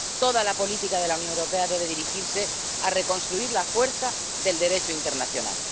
Toda la política de la Unión Europea debe dirigirse a reconstruir la fuerza del Derecho internacional.